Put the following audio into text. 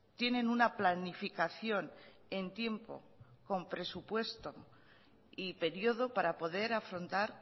tienen una planificación en tiempo con presupuesto y periodo para poder afrontar